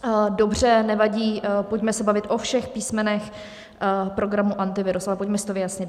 Dobře, nevadí, pojďme se bavit o všech písmenech programu Antivirus, ale pojďme si to vyjasnit.